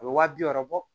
A bɛ waa bi wɔɔrɔ bɔ